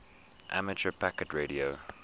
amateur packet radio